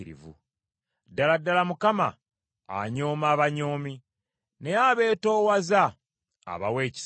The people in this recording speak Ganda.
Ddala ddala, Mukama anyooma abanyoomi, naye abeetoowaza abawa ekisa.